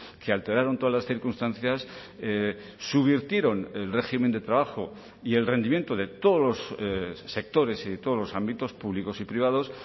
que alteraron todas las circunstancias subvirtieron el régimen de trabajo y el rendimiento de todos los sectores y de todos los ámbitos públicos y privados